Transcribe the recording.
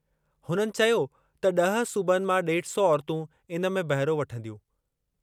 हुननि चयो त ॾह सूबनि मां ॾेढ सौ औरतूं इन में बहिरो वठंदियूं।